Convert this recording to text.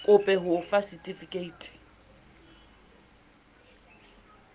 kope ho o fa setifikeiti